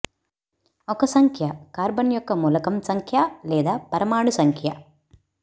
ఒక సంఖ్య కార్బన్ యొక్క మూలకం సంఖ్య లేదా పరమాణు సంఖ్య